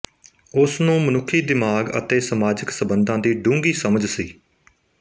ਉਸ ਨੂੰ ਮਨੁੱਖੀ ਦਿਮਾਗ ਅਤੇ ਸਮਾਜਿਕ ਸੰਬੰਧਾਂ ਦੀ ਡੂੰਘੀ ਸਮਝ ਸੀ